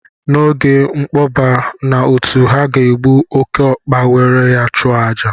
N'oge nkpọba na otu ha ga-egbu oke ọkpa were ya chụọ àjà